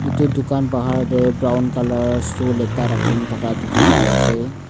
edu dukan bahar tae brown colour stool ekta rakhina thaka dikhipaiase.